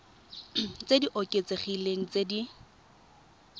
tse di oketsegileng tse di